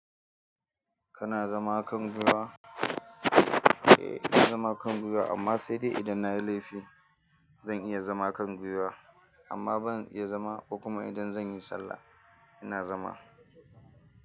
Kana zama kan gwiwa? Eh ina zama a kan gwiwa amma sai dai idan na yi laifi zan iya zama a kan gwiwa amma ban iya zama kuma idan zan yi sallah ina zama.